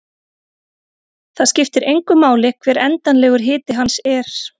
Það skiptir engu máli hver endanlegur hiti hans er.